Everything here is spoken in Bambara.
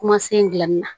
Kumasen dilanni na